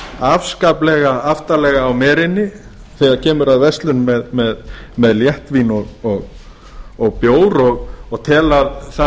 afskaplega aftarlega á merinni þegar kemur að verslun með léttvín og bjór og telja að nú